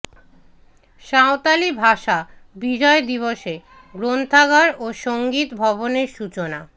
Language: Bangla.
সাঁওতালি ভাষা বিজয় দিবসে গ্রন্থাগার ও সঙ্গীত ভবনের সূচনা